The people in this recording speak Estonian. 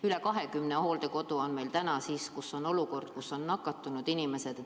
Üle 20 hooldekodu on meil praegu, kus on nakatunud inimesed.